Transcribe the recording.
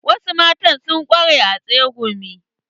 Wasu mata sun ƙware a tsegumi.